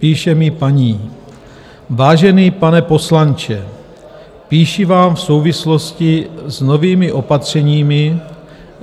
Píše mi paní: "Vážený pane poslanče, píši vám v souvislosti s novými opatřeními..."